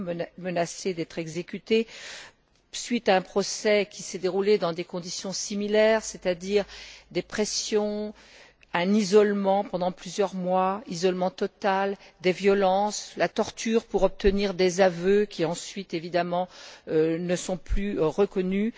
Elle est menacée d'être exécutée suite à un procès qui s'est déroulé dans des conditions similaires, c'est à dire qu'elle a subi des pressions, un isolement pendant plusieurs mois isolement total des violences, la torture pour obtenir des aveux qui ensuite évidemment ne sont plus reconnus.